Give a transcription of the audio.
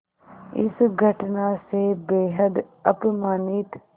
इस घटना से बेहद अपमानित